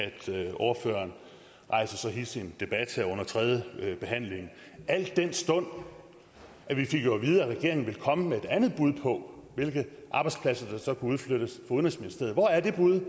ordføreren rejser så hidsig en debat her under tredjebehandlingen al den stund at vi jo fik at vide at regeringen ville komme med et andet bud på hvilke arbejdspladser der så kunne udflyttes udenrigsministeriet hvor er det bud